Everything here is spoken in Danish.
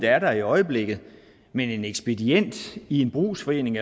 er der i øjeblikket men en ekspedient i en brugsforening